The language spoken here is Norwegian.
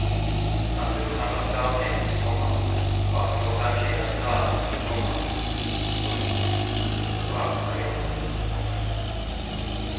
Naturen har vært gavmild, komma vakker og vennlig er dalen, komma fruktbar er jorden. punktum